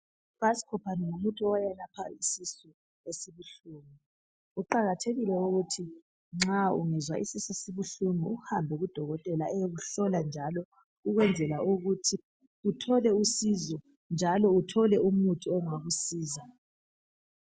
Ibascopan ngumuthi owelapha isisu esibuhlungu. Kuqakathekile ukuthi nxa ungezwa isisu sibuhlungu, uhambe kudodokotela. Ayekuhlola njalo. Ukwenzela ukuthii uthole usizo. Uthole umuthi ongakusiza.